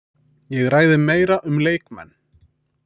Ég ræði meira um leikmenn.